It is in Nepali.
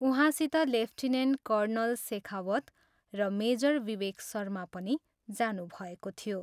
उहाँसित लेफ्टिनेन्ट कर्णल शेखावत र मेजर विवेक शर्मा पनि जानुभएको थियो।